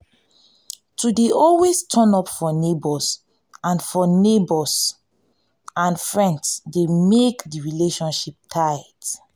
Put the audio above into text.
to de always turn up for neighbors and for neighbors and friends de make di relationship tight